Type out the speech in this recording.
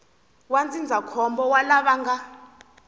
wa ndzindzakhombo wa lava nga